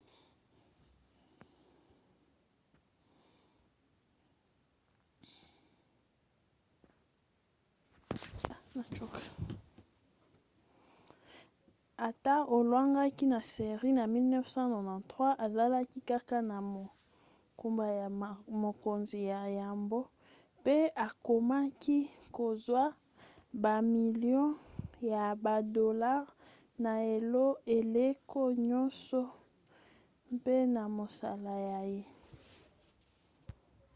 ata alongwaki na série na 1993 azalaki kaka na mokumba ya mokonzi ya yambo mpe akomaki kozwa bamilio ya badolare na eleko nyonso mp na mosala na ye